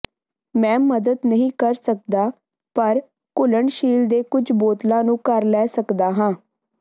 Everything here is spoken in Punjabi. ਮੈਂ ਮਦਦ ਨਹੀਂ ਕਰ ਸਕਦਾ ਪਰ ਘੁਲਣਸ਼ੀਲ ਦੇ ਕੁਝ ਬੋਤਲਾਂ ਨੂੰ ਘਰ ਲੈ ਸਕਦਾ ਹਾਂ